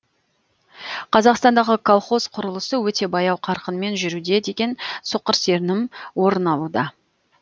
қазақстандағы колхоз құрылысы өте баяу қарқынмен жүруде деген соқыр сенім орын алуда